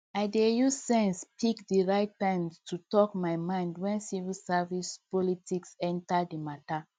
i dey use sense pick the right time to talk my mind when civil service politics enter the matter